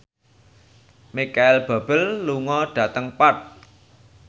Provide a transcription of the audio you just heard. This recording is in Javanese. Micheal Bubble lunga dhateng Perth